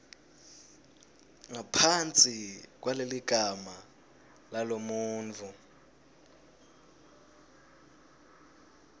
ngaphansi kwaleligama lalomuntfu